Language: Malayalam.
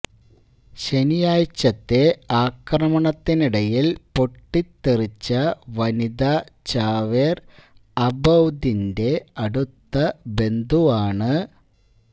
ശനിയാഴ്ചത്തെ ആക്രമണത്തിനിടയില് പൊട്ടിത്തെറിച്ച വനിതാ ചാവേര് അബൌദിന്റെ അടുത്ത ബന്ധുവാണ്